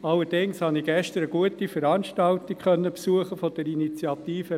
Allerdings habe ich gestern eine gute Veranstaltung der Initiative Holz BE besuchen können.